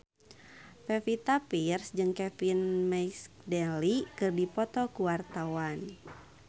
Pevita Pearce jeung Kevin McNally keur dipoto ku wartawan